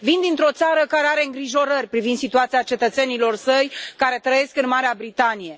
Vin dintr o țară care are îngrijorări privind situația cetățenilor săi care trăiesc în Marea Britanie.